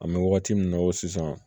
An bɛ wagati min na i ko sisan